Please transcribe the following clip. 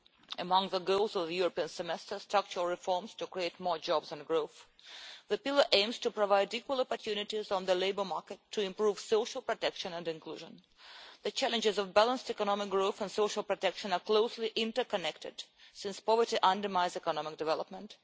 Among the goals of the European Semester are structural reforms to create more jobs and growth. The pillar aims to provide equal opportunities on the labour market to improve social protection and inclusion. The challenges of balanced economic growth and social protection are closely interconnected, since poverty undermines economic development.